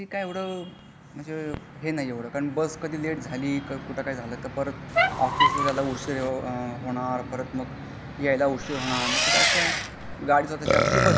ते पण ते काही एवढा म्हजे हे नाही एवढा कारण बस कधी लेट झाली. कुठं काही झाला तर ऑफिस ला जायला उशीर होणार परत मग यायला उशीर होणार मा ते असा स्वतःची गाडी असलेली बारी.